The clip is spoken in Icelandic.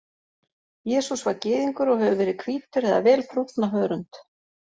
Jesús var Gyðingur og hefur verið hvítur eða vel brúnn á hörund.